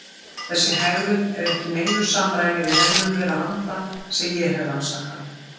Þessi hegðun er ekki í neinu samræmi við hegðun þeirra anda sem ég hef rannsakað.